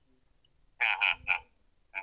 ಹ ಹ ಹ ಹ.